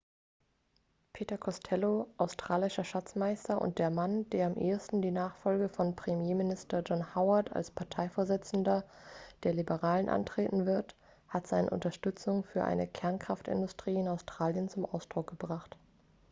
peter costello australischer schatzmeister und der mann der am ehesten die nachfolge von premierminister john howard als parteivorsitzender der liberalen antreten wird hat seine unterstützung für eine kernkraftindustrie in australien zum ausdruck gebracht